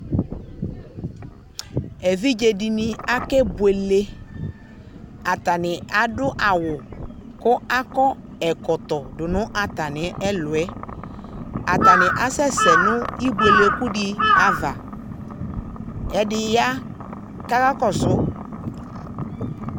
Evidze dini akebuele atani adu awu ku ako ɛkɔtɔ du nu atami ɛkuɛ ata ni asɛsɛ nu ibuelekudi ava ɛdi ya ku ɔkakɔsu